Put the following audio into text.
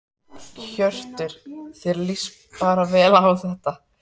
Hjörtur: Þér lýst bara vel á það?